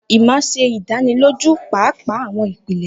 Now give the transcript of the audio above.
Emma ṣe idaniloju paapaa awọn ipele.